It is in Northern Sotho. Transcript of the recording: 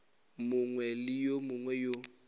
mongwe le yo mongwe yo